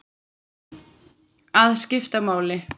Að skipta máli.